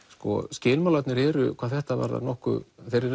skilmálarnir eru hvað þetta varðar þeir eru